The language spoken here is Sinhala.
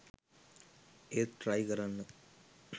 ඒත් ට්‍රයි කරන්න